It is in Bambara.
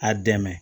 A dɛmɛ